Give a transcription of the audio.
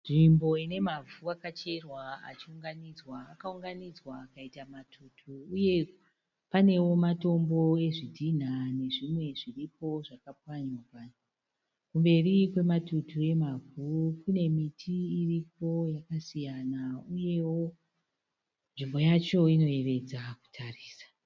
Nzvimbo ine mavhu akacherwa achiunganidzwa. Akaunganidzwa akaita matutu. Uye panewo matombo ezvidhinha nezvimwe zviripo zvakapwanywa- pwanywa. Kumberi kwematutu emavhu kune miti iriko yakasiyana uyewo nzvimbo yacho inoyevedza kutarisa.